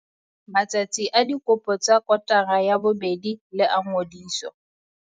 Matsatsi a dikopo tsa kotara ya bobedi le a ngodiso.